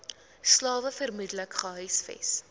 slawe vermoedelik gehuisves